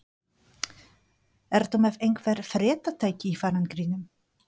Ertu með einhver fréttatæki í farangrinum?